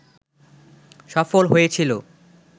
সফল হয়েছিল